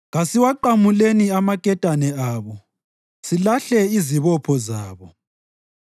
“Kasiwaqamuleni amaketane abo, silahle izibopho zabo.”